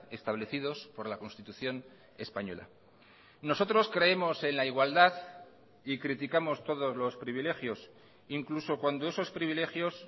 establecidos por la constitución española nosotros creemos en la igualdad y criticamos todos los privilegios incluso cuando esos privilegios